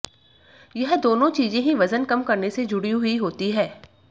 यह दोनों चीजें ही वजन कम करने से जुड़ी हुई होती है